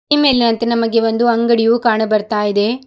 ಈ ಮೇಲಿನಂತೆ ನಮಗೆ ಒಂದು ಅಂಗಡಿಯೂ ಕಾಣ ಬರ್ತಾ ಇದೆ.